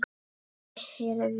Ég heyrði